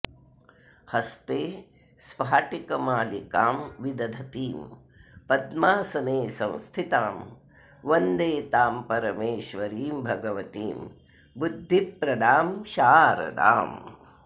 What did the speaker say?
हस्ते स्पाटिकमालिकां विदधतीं पद्मासने संस्थितां वन्दे तां परमेश्वरीं भगवतीं बुद्धिप्रदां शारदाम्